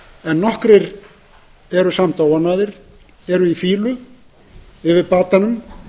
en nokkrir eru samt óánægðir eru í fýlu yfir batanum